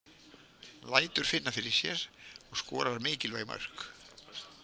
Lætur finna fyrir sér og skorar mikilvæg mörk.